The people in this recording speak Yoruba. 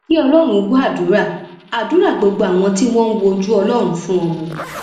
kí ọlọrun gbọ àdúrà àdúrà gbogbo àwọn tí wọn ń wojú ọlọrun fún ọmọ